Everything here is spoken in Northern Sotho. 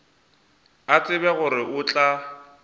a tseba gore o tla